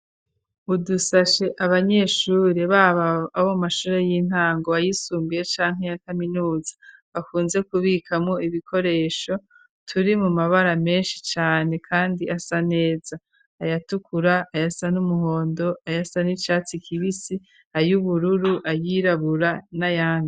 Udusashe abanyeshuri ,babo abo mashure y'intango, ayisumbuye ,canke ya kaminuza, bakunze kubikamwo ibikoresho ,turi mu mabara menshi cane ,kandi asa neza ayatukura, ayasa n'umuhondo, ayasa n'icatsi kibisi ,ayubururu ,ayirabura, na yandi.